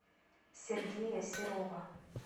сергея серова